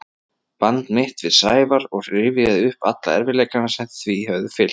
band mitt við Sævar og rifjaði upp alla erfiðleikana sem því höfðu fylgt.